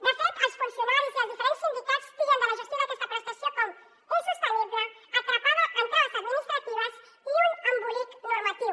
de fet els funcionaris i els diferents sindicats titllen la gestió d’aquesta prestació com a insostenible atrapada en traves administratives i un embolic normatiu